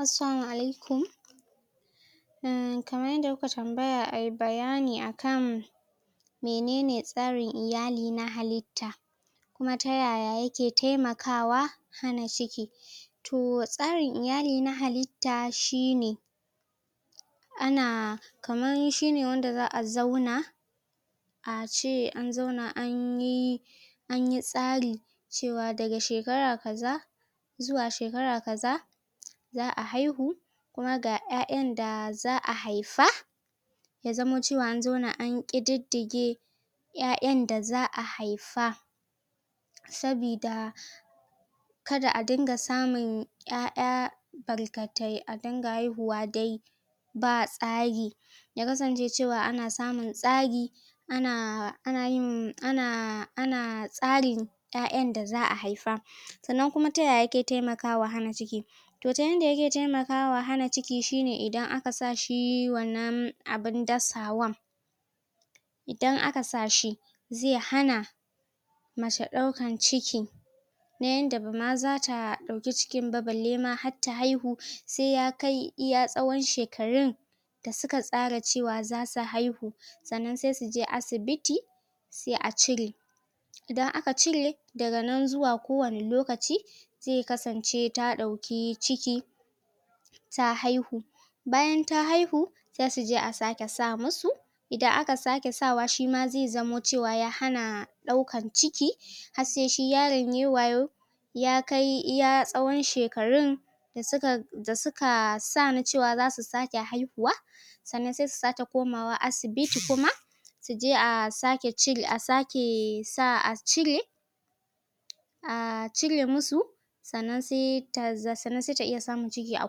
Assalamu alaikum kaman yanda kukayi tambaya ayi bayani akan menene tsarin iyali na halitta kuma ta yaya yake taimakawa hana ciki toh tsarin iyali na halitta shine ana kaman shine wanda za'a zauna ace an zauna anyi anyi tsari cewa daga shekara kaza zuwa shekara kaza za'a haihu kuma ga 'ya'yan da za'a haifa ya zamo cewa an zauna an kididdige 'ya'yan da za'a haifa sabida kada a dinga samun 'ya'ya barkatai a dinga haihuwa ba tsari ya kasance cewa ana samun tsari ana anayin ana ana tsarin 'ya'yan da za'a haifa sannan taya yake taimakawa wajen hana ciki toh ta yanda yake taimakawa wajen hana ciki shineidan aka sa shi wannan abun dasawan idan aka sa shi zai hana mace daukan ciki ta yanda bama zatadauki cikin ba balle ma har ta haihu sai ya kai iya tsawon shekarun da tsara cewa zasu haihu sannan sai suje asibiti sai a cire idan aka cire daga nan zuwa kowani lokaci zai kasance ta dauki ciki ta haihu bayan ta haihu zasu je a sake sa musu idan aka sake sa wa shima zai zamo cewa ya hana daukan ciki har sai shi yaron yayi wayo ya kai iya tsawon shekarun suka da suka na cewa zasu sake haihuwa sannan sai su sake komawa asibiti kuma a je a sake um cire a cire musu sannan sai ta iya samun ciki a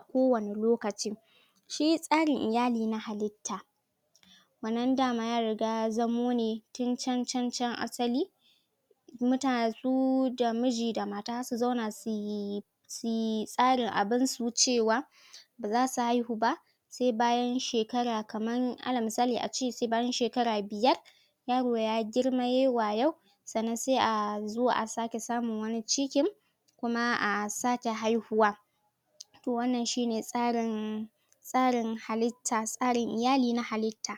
kowani lokaci shi tsarin iyali na halitta wannan dama ya riga ya zamo ne can can can asali da miji da mata su zauna suyi suyi tsarin abun su cewa baza su haihu ba sai bayan shekara kaman ala misali a ce sai bayan shekara biyar yaro ya girma yayi wayo sannan sai a zo a sake samun wani cikin kuma a sake haihuwa toh wannan shine tsarin tsarin iyali na halitta.